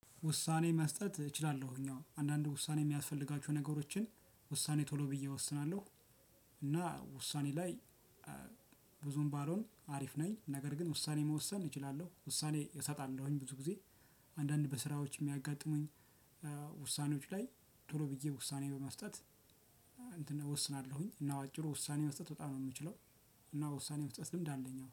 ውሳኔ መስጠት እችላለሁኝ አዎ አንዳንድ ውሳኔ የሚያስፈልጋችሁ ነገሮችን ውሳኔ ቶሎ ብዬ እወስናለሁ። እና ውሳኔ ላይ ብዙም ባሎን አሪፍ ነኝ። ነገር ግን ውሳኔ መወሰን እችላለሁ ውሳኔ እሰጣለሁኝ ብዙ ጊዜ። አንዳንድ በስራዎች የሚያጋጥሙኝ ውሳኔዎች ላይ ቶሎ ብዬ ውሳኔ በመስጠት። እንትን እወስናለሁኝ እና በአጭሩ ውሳኔ መስጠት በጣም ነው የምችለው። እና ውሳኔ መስጠትም ልምድ አለኝ አዎ